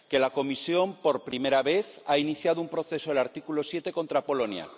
que la Comisión, por primera vez, ha iniciado un proceso del artículo 7 contra Polonia